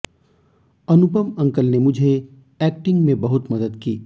अनुपम uncle ने मुझे acting में बहुत मदद की